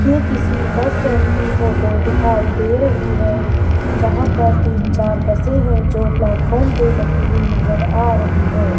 ये किसी bus stand की फोटो दिखाई दे रही है जहां पर तीन चार बसें हैं जो प्लेटफार्म पे लगी हुई नजर आ रही है।